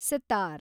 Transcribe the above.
sitar